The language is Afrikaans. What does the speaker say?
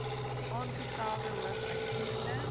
aangestelde hoof uitvoerende